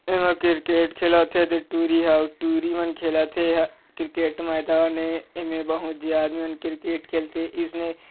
एमा क्रिकेट खेलत हे ऐदे टुरी हा अउ टुरी मन खेलत हे एहा क्रिकेट मैदान ए एमा बहु झी आदमी क्रिकेट खेल थे ईसने --